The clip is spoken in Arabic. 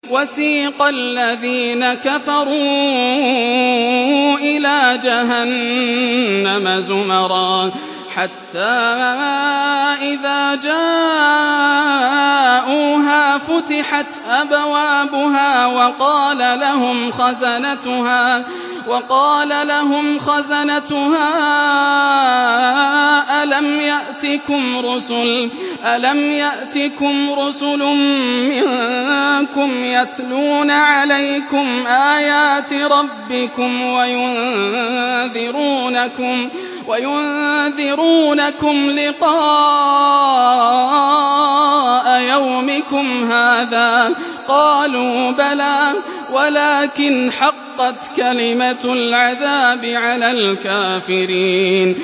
وَسِيقَ الَّذِينَ كَفَرُوا إِلَىٰ جَهَنَّمَ زُمَرًا ۖ حَتَّىٰ إِذَا جَاءُوهَا فُتِحَتْ أَبْوَابُهَا وَقَالَ لَهُمْ خَزَنَتُهَا أَلَمْ يَأْتِكُمْ رُسُلٌ مِّنكُمْ يَتْلُونَ عَلَيْكُمْ آيَاتِ رَبِّكُمْ وَيُنذِرُونَكُمْ لِقَاءَ يَوْمِكُمْ هَٰذَا ۚ قَالُوا بَلَىٰ وَلَٰكِنْ حَقَّتْ كَلِمَةُ الْعَذَابِ عَلَى الْكَافِرِينَ